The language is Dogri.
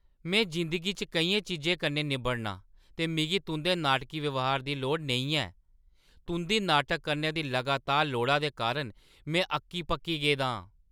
मैं जिंदगी च केइयें चीजें कन्नै निब्बड़नां ते मिगी तुंʼदे नाटकी ब्यहार दी लोड़ नेईं ऐ। तुंʼदी नाटक करने दी लगातार लोड़ा दे कारण में अक्की-पक्की गेदा आं।